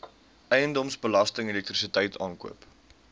eiendomsbelasting elektrisiteit aankope